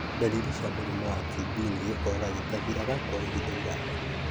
Dariri cia mũrimũ wa TB nĩ gĩkorora gĩtathiraga kwa ihinda iraya,